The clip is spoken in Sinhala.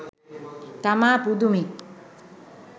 තමා පුදුමෙ.